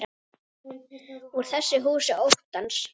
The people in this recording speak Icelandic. Úr þessu húsi óttans.